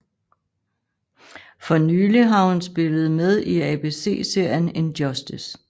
For nylig har hun spillede med i ABC serien In Justice